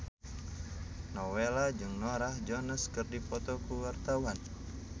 Nowela jeung Norah Jones keur dipoto ku wartawan